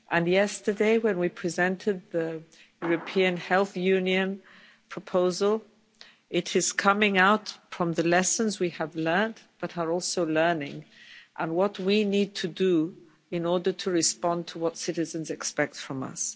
Yesterday, when we presented the European Health Union proposal, it is coming out from the lessons we have learnt, but are also learning, and what we need to do in order to respond to what citizens expect from us.